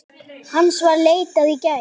Hans var leitað í gær.